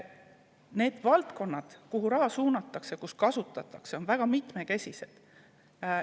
Need valdkonnad, kuhu raha suunatakse ja kus seda kasutatakse, on väga mitmekesised.